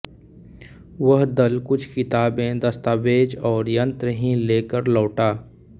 वह दल कुछ किताबें दस्तावेज और यंत्र ही ले कर लौटा